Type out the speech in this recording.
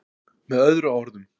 Með öðrum orðum.